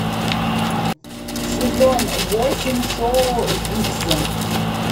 сезон восемь шоу виксен